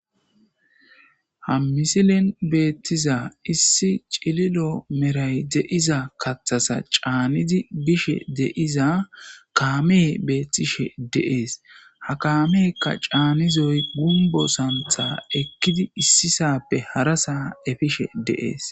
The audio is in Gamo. ha misilin beettiza issi cililo meray de'iza kathasa caanidi bishe deiza kaame beettishe de'ees ha kaameekka caanizoy gumbo santha ekkidi issisappe harasaa efishe de'ees